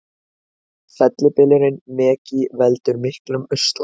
Fellibylurinn Megi veldur miklum usla